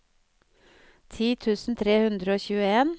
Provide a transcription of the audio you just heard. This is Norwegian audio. ti tusen tre hundre og tjueen